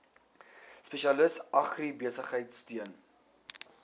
spesialis agribesigheid steun